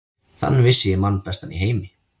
Þann vissi ég mann bestan í heimi.